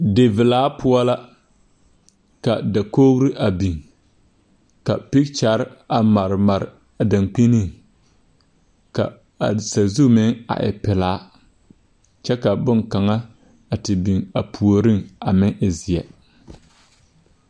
Divilaa poɔ la ka dakogre a biŋ ka peekyɛrre a mare mare a dankpiniŋ ka a sazu meŋ a e pilaa kyɛ ka bonkaŋa a biŋ a puoriŋ a meŋ e zeɛ.